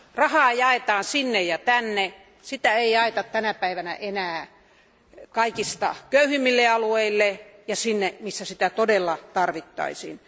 Rahaa jaetaan sinne ja tänne, sitä ei jaeta tänä päivänä enää kaikista köyhimmille alueille ja sinne, missä sitä todella tarvittaisiin.